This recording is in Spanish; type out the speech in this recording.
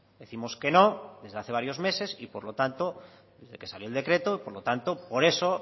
decimos que no desde hace varios meses desde que salió el decreto y por lo tanto por eso